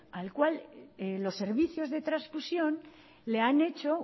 al cual los servicios de transfusión le han hecho